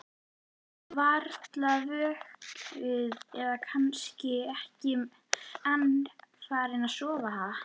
Varla vöknuð eða kannski ekki enn farin að sofa, ha?